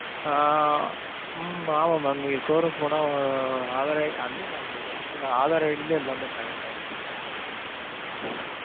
ஆஹ் உம் ஆமா mam. நீங்க showroom போனா ஆஹ் ஆதார் id, இல்ல mam ஆதார் id லையே எல்லாமே connect ஆயிரும் mam.